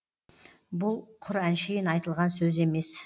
бұл құр әншейін айтылған сөз емес